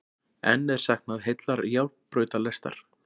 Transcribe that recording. Enn er saknað heillar járnbrautalestar